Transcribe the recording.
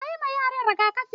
Yi ma yaran rigakafi.